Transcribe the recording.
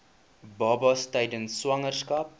babas tydens swangerskap